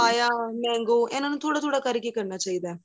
papaya mango ਇਹਨਾ ਨੂੰ ਥੋੜਾ ਥੋੜਾ ਕਰਕੇ ਕਰਨਾ ਚਾਹੀਦਾ ਏ